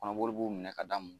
kɔnɔboli b'u minɛ ka da